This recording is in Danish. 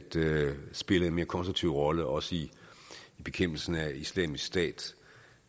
spille en mere konstruktiv rolle også i bekæmpelsen af islamisk stat